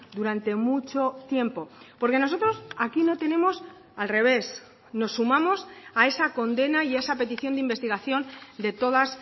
durante mucho tiempo porque nosotros aquí no tenemos al revés nos sumamos a esa condena y a esa petición de investigación de todas